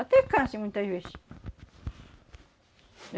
Até câncer muitas vezes.